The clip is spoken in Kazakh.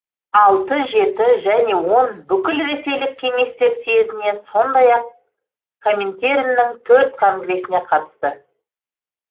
алты жеті және он бүкілресейлік кеңестер съезіне сондай ақ коминтерннің төрт конгресіне қатысты